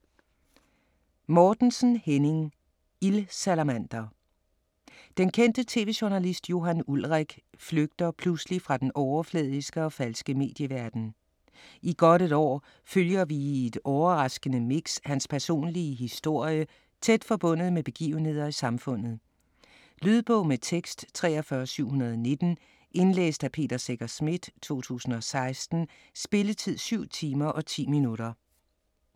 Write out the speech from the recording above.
Mortensen, Henning: Ildsalamander Den kendte tv-journalist Johan Ulrik flygter pludselig fra den overfladiske og falske medieverden. I godt et år følger vi i et overraskende mix hans personlige historie tæt forbundet med begivenheder i samfundet. Lydbog med tekst 43719 Indlæst af Peter Secher Schmidt, 2016. Spilletid: 7 timer, 10 minutter.